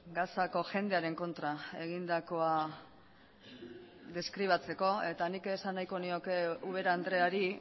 gazako jendearen kontra egindakoa deskribatzeko eta nik esan nahiko nioke ubera andreari